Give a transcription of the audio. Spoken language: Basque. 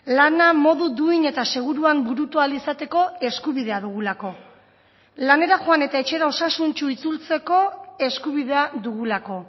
lana modu duin eta seguruan burutu ahal izateko eskubidea dugulako lanera joan eta etxera osasuntsu itzultzeko eskubidea dugulako